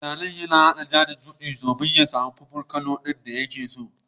Mai zanen ya haɗa ja da shudi domin ya samu purple colour din da yake so.